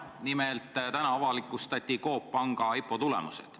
Nimelt, täna avalikustati Coop Panga IPO tulemused.